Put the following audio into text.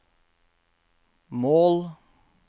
mål